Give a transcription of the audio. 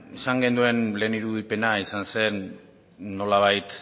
izan genuen lehen irudipena izan zen nolabait